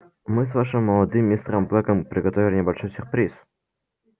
мы с вашим молодым мистером блэком приготовили небольшой сюрприз